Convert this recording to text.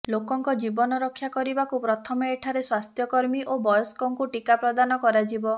ଲୋକଙ୍କ ଜୀବନ ରକ୍ଷା କରିବାକୁ ପ୍ରଥମେ ଏଠାରେ ସ୍ୱାସ୍ଥ୍ୟକର୍ମୀ ଓ ବୟସ୍କଙ୍କୁ ଟିକା ପ୍ରଦାନ କରାଯିବ